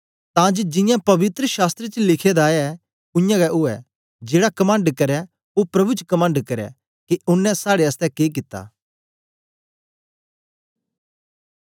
तां जे जियां पवित्र शास्त्र च लिखे दा ऐ उयांगै उवै जेड़ा कमंड करै ओ प्रभु च कमंड करै के ओनें साड़े आसतै के कित्ता